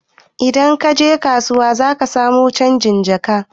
Idan kaje kasuwa zaka samu canjin jaka ɗin